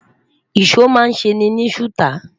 ìsọ má n se ni suta